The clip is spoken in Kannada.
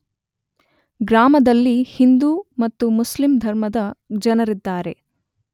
ಗ್ರಾಮದಲ್ಲಿ ಹಿಂದೂ ಮತ್ತು ಮುಸ್ಲಿಂ ಧರ್ಮದ ಜನರಿದ್ದಾರೆ.